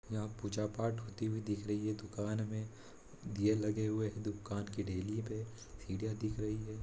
यहाँ पूजा पाठ करते हुए दिख रही है दुकान में दीया लगे हुए हैं दुकान के देहरी में सीढ़ियां दिख रही हैं।